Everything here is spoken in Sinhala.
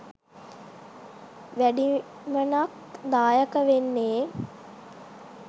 වැඩිමනක් දායක වෙන්නෙ